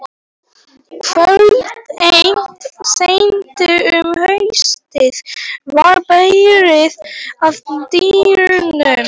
Kvöld eitt seint um haustið var barið að dyrum.